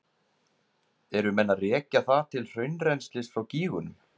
Eru menn að rekja það til hraunrennslis frá gígunum?